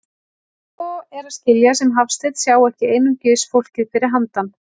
En svo er að skilja sem Hafsteinn sjái ekki einungis fólkið fyrir handan.